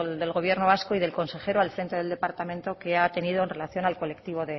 del gobierno vasco y del consejero al frente del departamento que ha tenido en relación al colectivo